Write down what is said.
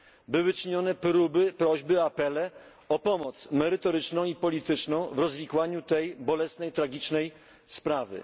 Były czynione próby, prośby, apele o pomoc merytoryczną i polityczną w rozwikłaniu tej bolesnej, tragicznej sprawy.